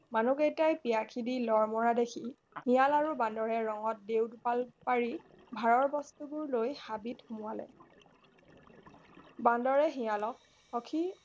মানুহই কেইটা পিয়া খিদি লৰ মৰা দেখি শিয়াল আৰু বান্দৰে ৰঙত দেও দোপাল পাৰি ভাৰৰ বস্তুবোৰ লৈ হাবিত সুমুৱালে